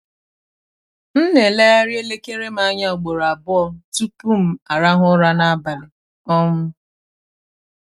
m na-elegharị elekere m anya ugboro abụọ tupu m arahụ ụra n’abalị. um